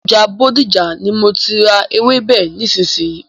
Ọjà Bódìjà ni má tí má a ra ewébè nísìsiyìí.